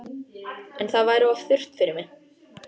En það væri of þurrt fyrir mig